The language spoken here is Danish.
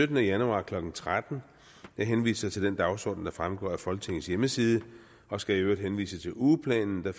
syttende januar klokken tretten jeg henviser til den dagsorden der fremgår af folketingets hjemmeside og skal i øvrigt henvise til ugeplanen der